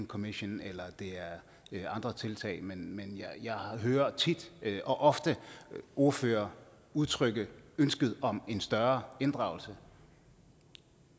commmission eller andre tiltag men jeg hører tit og ofte ordførere udtrykke ønske om en større inddragelse